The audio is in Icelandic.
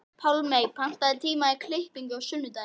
Pálmey, pantaðu tíma í klippingu á sunnudaginn.